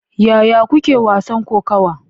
Yaya kuke wasan kokawa?